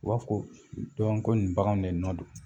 U b'a fɔ ko ko nin baganw ne nɔn don